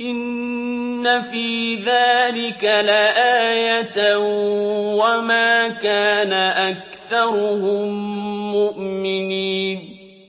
إِنَّ فِي ذَٰلِكَ لَآيَةً ۖ وَمَا كَانَ أَكْثَرُهُم مُّؤْمِنِينَ